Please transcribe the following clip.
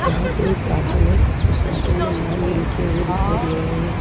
वहां पे एक कार्टून है उस कार्टून में नाम भी लिखे हुए दिखाई दे रहे हैं।